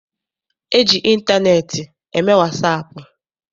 E ji ịntaneetị eme wasaapụ.